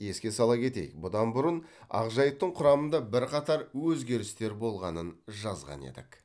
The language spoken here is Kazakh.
еске сала кетейік бұдан бұрын ақжайықтың құрамында бірқатар өзгерістер болғанын жазған едік